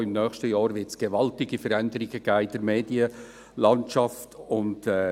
Auch im nächsten Jahr wird es gewaltige Veränderungen in der Medienlandschaft geben.